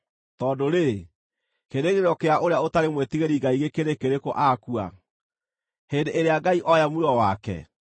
Tondũ-rĩ, kĩĩrĩgĩrĩro kĩa ũrĩa ũtarĩ mwĩtigĩri Ngai gĩkĩrĩ kĩrĩkũ akua, hĩndĩ ĩrĩa Ngai ooya muoyo wake?